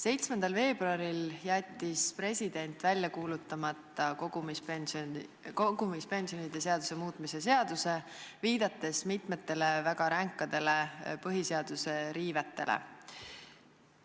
7. veebruaril jättis president välja kuulutamata kogumispensionide seaduse muutmise seaduse, viidates mitmetele väga ränkadele põhiseaduse riivetele.